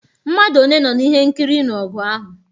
Mmadụ one nọ n'ihe nkiri ịnụ ọgụ ahụ?